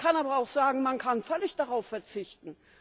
Man kann aber auch sagen, man kann völlig darauf verzichten.